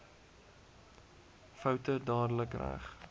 foute dadelik reg